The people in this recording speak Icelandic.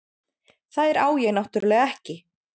Þær á ég náttúrlega ekki.